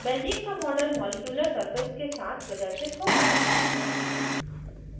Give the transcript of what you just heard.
benzene का model molecular surface के साथ प्रदर्शित होता है